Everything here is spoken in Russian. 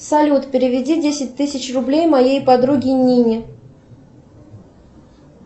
салют переведи десять тысяч рублей моей подруге нине